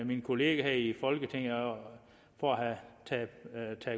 mine kollegaer her i folketinget for at have taget